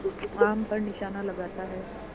आम पर निशाना लगाता है